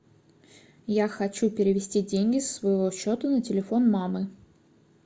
я хочу перевести деньги со своего счета на телефон мамы